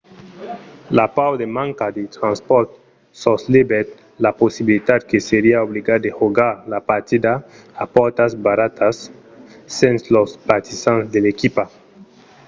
la paur de manca de transpòrts soslevèt la possibilitat que seriá obligat de jogar la partida a pòrtas barradas sens los partisans de l’equipa